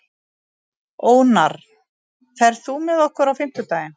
Ónarr, ferð þú með okkur á fimmtudaginn?